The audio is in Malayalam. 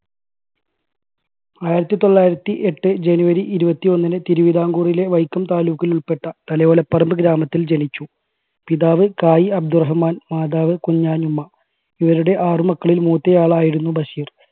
ആയിരത്തി തൊള്ളായിരത്തി എട്ട് january ഇരുപത്തി ഒന്നിന് തിരുവിതാംകൂറിലെ വൈക്കം താലൂക്കിൽ ഉൾപ്പെട്ട തലയോലപ്പറമ്പ് ഗ്രാമത്തിൽ ജനിച്ചു. പിതാവ് കായ് അബ്ദു റഹ്മാൻ മാതാവ് കുഞ്ഞാനുമ്മ. ഇവരുടെ ആറ് മക്കളിൽ മൂത്ത ആളായിരുന്നു ബഷീർ.